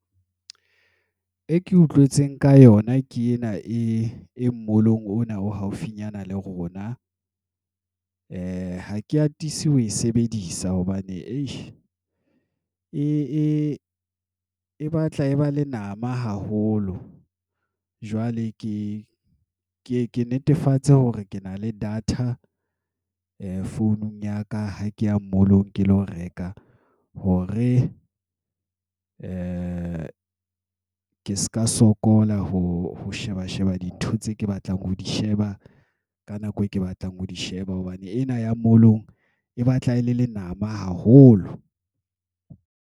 E ke utlwetseng ka yona ke ena e mall-ong ona o haufinyana le rona ha ke atise ho e sebedisa hobane e batla e ba le nama haholo. Jwale ke e ke netefatse hore ke na le data founung ya ka ha ke ya mall-ong ke lo reka hore ke se ka sokola. Ho sheba Sheba dintho tse ke batlang ho di sheba ka nako e ke batlang ho di sheba hobane ena ya mall-ong e batla e le lenama haholo.